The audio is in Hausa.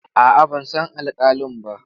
A'a, ban san alƙalin ba.